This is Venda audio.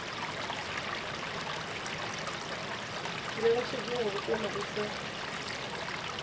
ngeletshedzo ya vhukuma i sa